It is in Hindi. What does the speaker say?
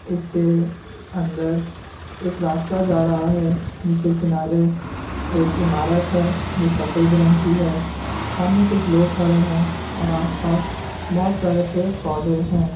इसके अंदर एक रास्ता जा रहा है जिसके किनारे एक ईमारत है जो सफेद रंग की है सामने कुछ लोग खड़े हैं और आस-पास बोहोत सारे पेड़-पौधे हैं।